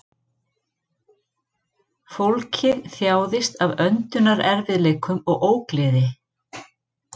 Fólkið þjáðist af öndunarerfiðleikum og ógleði